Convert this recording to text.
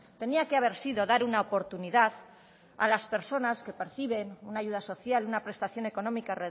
tenía que haber sido dar una oportunidad a las personas que perciben una ayuda social una prestación económica